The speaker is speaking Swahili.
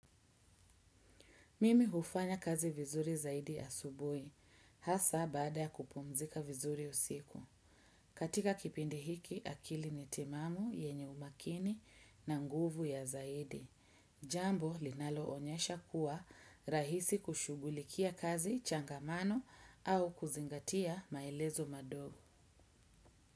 Mimi hufanya kazi vizuri zaidi asubuhi, hasa baada ya kupumzika vizuri usiku. Katika kipindi hiki akili ni timamu yenye umakini na nguvu ya zaidi. Jambo linaloonyesha kuwa rahisi kushughulikia kazi changamano au kuzingatia maelezo madogo.